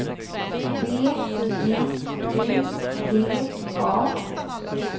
B J U D A